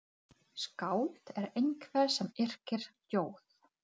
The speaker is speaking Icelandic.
Verslunargatan í Reykjavík heitir líka Laugavegur.